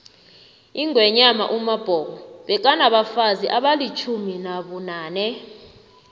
ingwenyama umabhoko bekanabafazi abalitjumi nabunane